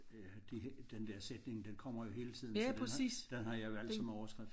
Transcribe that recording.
Ja det den der sætning den kommer jo hele tiden så den har den har jeg valgt som overskrift